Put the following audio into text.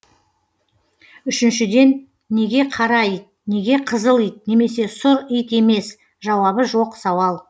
үшіншіден неге қара ит неге қызыл ит немесе сұр ит емес жауабы жоқ сауал